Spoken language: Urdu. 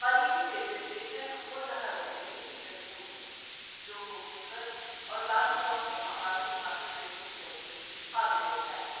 قریبی ریلوے اسٹیشن خوردھا ضلع میں بھشنڈ پور ہے، جو بھونیشور اور بالوگاؤں سے مقامی مسافر ٹرینوں کے ذریعے قابل رسائی ہے۔